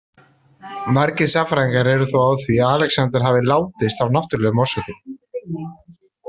Margir sagnfræðingar eru þó á því að Alexander hafi látist af náttúrlegum orsökum.